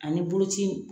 Ani boloci